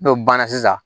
N'o banna sisan